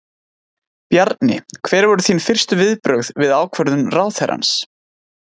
Bjarni, hver voru þín fyrstu viðbrögð við ákvörðun ráðherrans?